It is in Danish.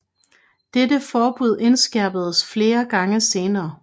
Dette forbud indskærpedes flere gange senere